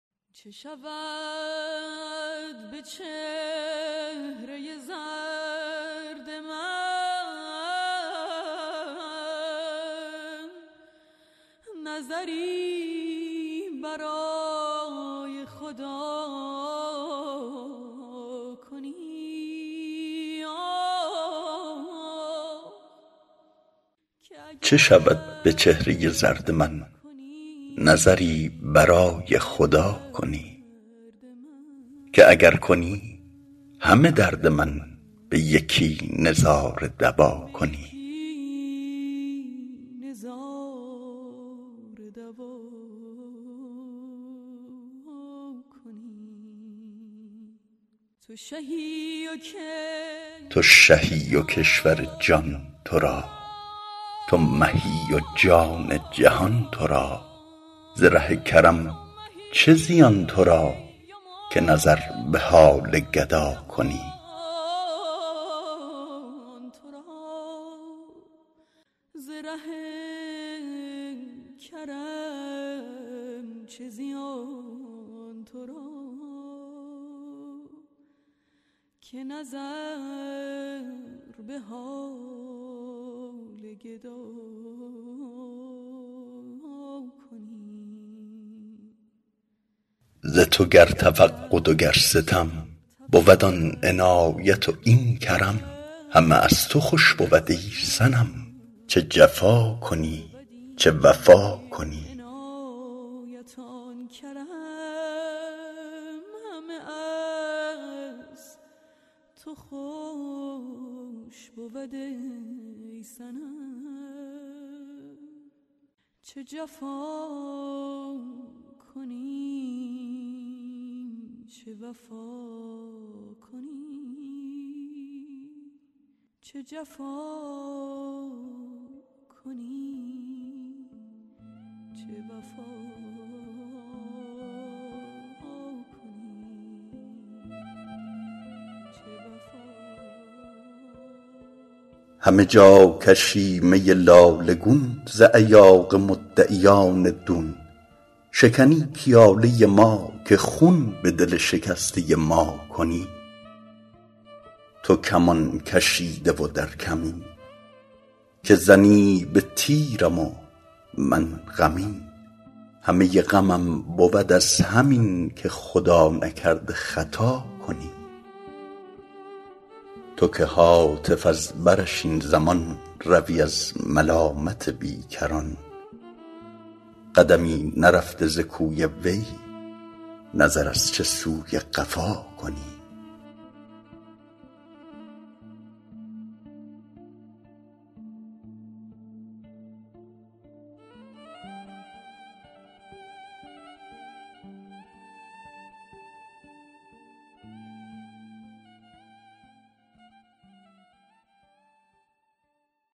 چه شود به چهره زرد من نظری برای خدا کنی که اگر کنی همه درد من به یکی نظاره دوا کنی تو شهی و کشور جان تو را تو مهی و جان جهان تو را ز ره کرم چه زیان تو را که نظر به حال گدا کنی ز تو گر تفقد و گر ستم بود آن عنایت و این کرم همه از تو خوش بود ای صنم چه جفا کنی چه وفا کنی همه جا کشی می لاله گون ز ایاغ مدعیان دون شکنی پیاله ما که خون به دل شکسته ما کنی تو کمان کشیده و در کمین که زنی به تیرم و من غمین همه غمم بود از همین که خدا نکرده خطا کنی تو که هاتف از برش این زمان روی از ملامت بیکران قدمی نرفته ز کوی وی نظر از چه سوی قفا کنی